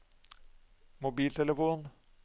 mobiltelefon